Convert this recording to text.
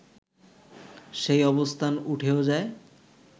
সেই অবস্থান উঠেও যায়